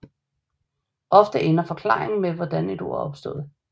Ofte ender forklaringen med hvordan et ord er opstået